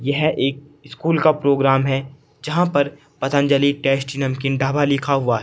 यह एक स्कूल का प्रोग्राम है जहां पर पतंजलि टेस्टी नमकीन ढाबा लिखा हुआ है।